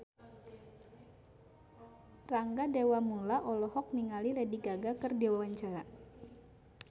Rangga Dewamoela olohok ningali Lady Gaga keur diwawancara